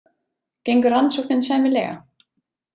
Gengur rannsóknin sæmilega?